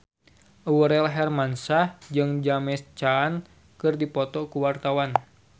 Aurel Hermansyah jeung James Caan keur dipoto ku wartawan